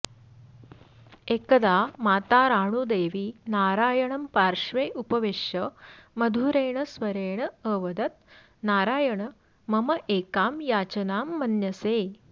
एकदा माता राणूदेवी नारायणं पार्श्वे उपवेश्य मधुरेण स्वरेण अवदत् नारायण मम एकां याचनां मन्यसे